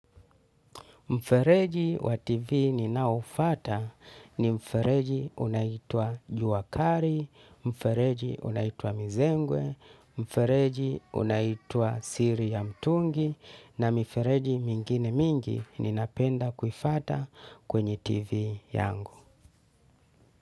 Mfereji wa TV ninaofata ni mfereji unaitwa juwakari, mfereji unaitwa mizengwe, mfereji unaitwa siri ya mtungi, na mifereji mingine mingi, ninapenda kuifata kwenye TV yangu.